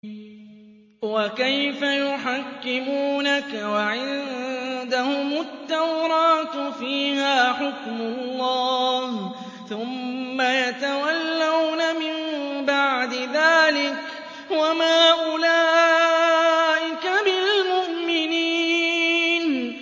وَكَيْفَ يُحَكِّمُونَكَ وَعِندَهُمُ التَّوْرَاةُ فِيهَا حُكْمُ اللَّهِ ثُمَّ يَتَوَلَّوْنَ مِن بَعْدِ ذَٰلِكَ ۚ وَمَا أُولَٰئِكَ بِالْمُؤْمِنِينَ